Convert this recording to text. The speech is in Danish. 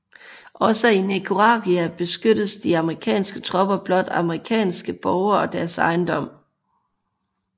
Også i Nicaragua beskyttede de amerikanske tropper blot amerikanske borgere og deres ejendom